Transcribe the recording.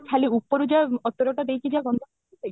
ଖାଲି ଉପରୁ ଯାହା ଅତର ଟା ଦେଇକି ଯାହା ଗନ୍ଧ କରି ଦେଉଛନ୍ତି